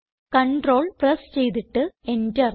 control press ചെയ്തിട്ട് Enter